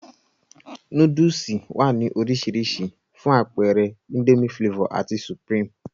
Nóódùsì wá ní orisirisi, fún apeere Indomie Flavor ati supreme